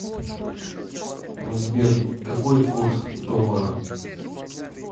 сбер какой курс доллара